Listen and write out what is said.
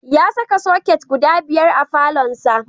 Ya saka soket guda biyar a falonsa.